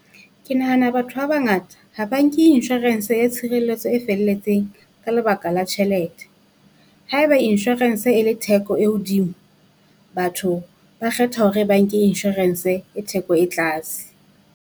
Ke nahana batho ba bangata ha ba nke insurance ya tshireletso e felletseng ka lebaka la tjhelete. Haeba insurance e le theko e hodimo, batho ba kgetha hore ba nke Insurance e theko e tlase.